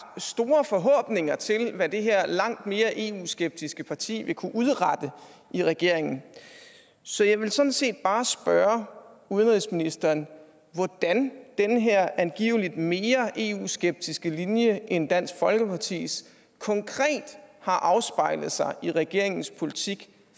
store forhåbninger til hvad det her langt mere eu skeptiske parti vil kunne udrette i regeringen så jeg vil sådan set bare spørge udenrigsministeren hvordan den her angiveligt mere eu skeptiske linje end dansk folkepartis konkret har afspejlet sig i regeringens politik